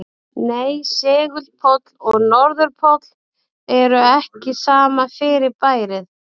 Nei, segulpóll og norðurpóll eru ekki sama fyrirbærið.